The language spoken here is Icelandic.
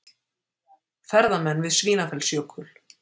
Ferðamenn við Svínafellsjökul.